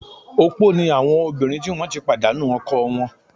Opó ni àwọn obìnrin tí wọ́n ti pàdánu ọkọ wọn